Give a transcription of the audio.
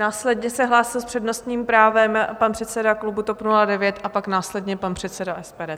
Následně se hlásil s přednostním právem pan předseda klubu TOP 09 a pak následně pan předseda SPD.